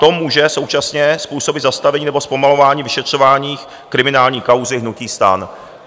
To může současně způsobit zastavení nebo zpomalování vyšetřování kriminální kauzy hnutí STAN.